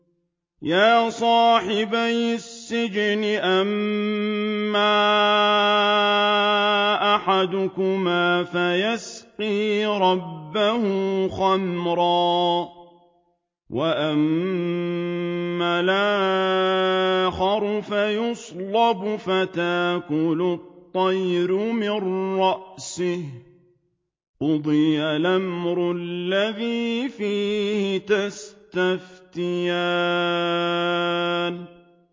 يَا صَاحِبَيِ السِّجْنِ أَمَّا أَحَدُكُمَا فَيَسْقِي رَبَّهُ خَمْرًا ۖ وَأَمَّا الْآخَرُ فَيُصْلَبُ فَتَأْكُلُ الطَّيْرُ مِن رَّأْسِهِ ۚ قُضِيَ الْأَمْرُ الَّذِي فِيهِ تَسْتَفْتِيَانِ